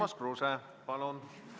Urmas Kruuse, palun!